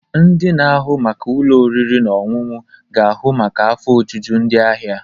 Ndị na-ahụ maka ụlọ oriri na ọṅụṅụ ga ahu maka afọ ojuju ndị ahịa.